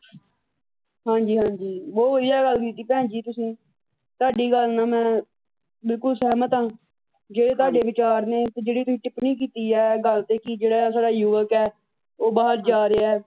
ਹਾਂ ਜੀ। ਹਾਂ ਜੀ। ਬਹੁਤ ਵੱਧੀਆ ਗੱਲ ਕੀਤੀ ਭੈਣ ਜੀ ਤੁਸੀ। ਤੁਹਾਡੀ ਗੱਲ ਨਾਲ ਮੈਂ ਬਿਲਕੁੱਲ ਸਹਿਮਤ ਆਂ ਜਿਹੜੇ ਤੁਹਾਡੇ ਵਿਚਾਰ ਨੇ ਜਿਹੜੀ ਤੁਸੀ ਟਿੱਪਣੀ ਕੀਤੀ ਆ ਗੱਲ ਤੇ ਕਿ ਜਿਹੜਾ ਸਾਡਾ ਯੁਵੱਕ ਆ ਉਹ ਬਾਹਰ ਜਾ ਰਿਹਾ।